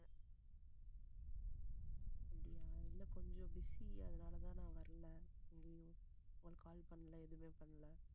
அப்படியா இல்லை கொஞ்சம் busy அதனால தான் நான் வரலை ஐயையோ உனக்கு call பண்ணலை எதுவுமே பண்ணலை